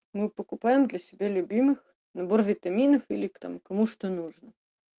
мы покупаем для себя любимых набор витаминов или там кому что нужно